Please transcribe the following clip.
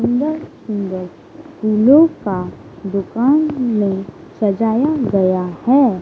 सुंदर-सुंदर फूलों का दुकान में सजाया गया है।